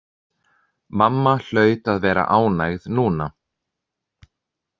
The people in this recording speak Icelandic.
Mamma hlaut að vera ánægð núna.